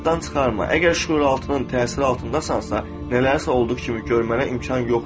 Yaddan çıxarma, əgər şüuraltının təsiri altındasansa, nələrisə olduğu kimi görmənə imkan yoxdur.